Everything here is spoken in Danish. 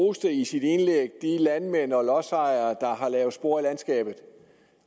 roste i sit indlæg de landmænd og lodsejere der har lavet spor i landskabet